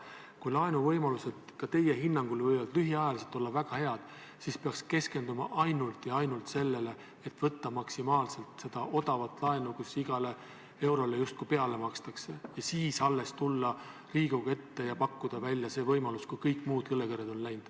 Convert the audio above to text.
Kui laenuvõimalused võivad ka teie hinnangul olla lühiajaliselt väga head, siis peaks keskenduma ainult ja ainult sellele, et võtta maksimaalselt seda odavat laenu, mille korral igale eurole justkui peale makstakse, ja alles siis tulla Riigikogu ette ja pakkuda välja see võimalus – alles siis, kui kõik muud õlekõrred on läinud.